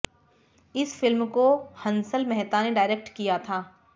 इस फिल्म को हंसल मेहता ने डायरेक्ट किया था